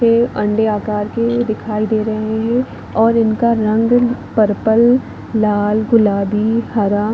ये अंडे आकार के दिखाई दे रहे है और इनका रंग पर्पल लाल गुलाबी हरा--